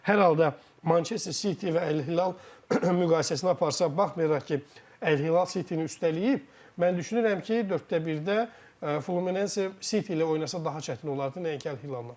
Hər halda Manchester City və Əl-Hilal müqayisəsini aparsaq, baxmayaraq ki, Əl-Hilal Cityni üstələyib, mən düşünürəm ki, dörddəbirdə Fluminese City ilə oynasa daha çətin olardı, nəinki Əl-Hilalnan.